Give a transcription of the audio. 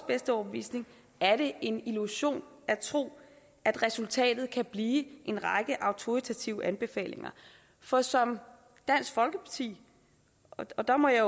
bedste overbevisning er det en illusion at tro at resultatet kan blive en række autoritative anbefalinger for som dansk folkeparti og der må jeg